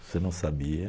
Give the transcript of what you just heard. Você não sabia?